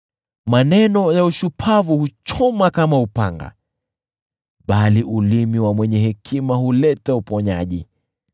Maneno ya kipumbavu huchoma kama upanga, bali ulimi wa mwenye hekima huleta uponyaji.